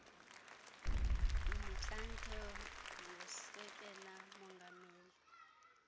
motlanthe ngusekela mongameli